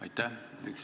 Aitäh!